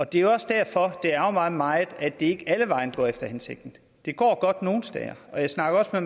det er også derfor det ærgrer mig meget at det ikke alle vegne går efter hensigten det går godt nogle steder og jeg snakker med